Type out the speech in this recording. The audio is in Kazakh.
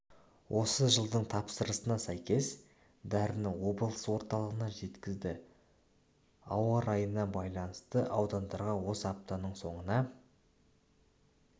осы жылдың тапсырысына сәйкес дәріні облыс орталығына жеткізді ауа райына байланысты аудандарға осы аптаның соңына